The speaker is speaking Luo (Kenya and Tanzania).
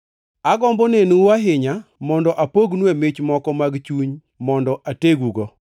Agombo nenou ahinya mondo apognue mich moko mag chuny mondo ategugo,